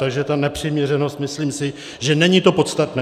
Takže ta nepřiměřenost, myslím si, že není to podstatné.